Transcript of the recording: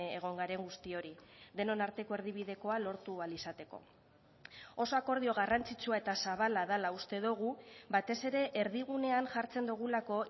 egon garen guztiori denon arteko erdibidekoa lortu ahal izateko oso akordio garrantzitsua eta zabala dela uste dugu batez ere erdigunean jartzen dugulako